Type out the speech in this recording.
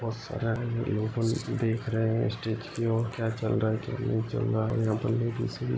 बहुत सारे लोग देख रहे है। स्टेज की और क्या चल रहा है। क्या नहीं चल रहा है। यहा पर --